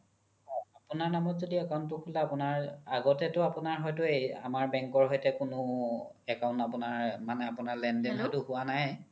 অ আপোনাৰ নামত য্দি account তো খুলে আপোনাৰ আগতেতো আপোনাৰ হয়তো আমাৰ bank ৰ সৈতে কোনো account আপোনাৰ মানে আপোনাৰ লেন দেনতো হুৱা নাই